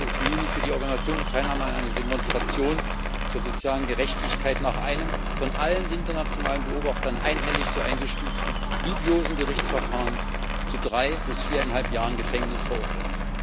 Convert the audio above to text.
28. Juni für die Organisation und Teilnahme an einer Demonstration zur sozialen Gerechtigkeit nach einem von allen internationalen Beobachtern einhellig so eingestuften dubiosen Gerichtsverfahren zu drei bis viereinhalb Jahren Gefängnis verurteilt.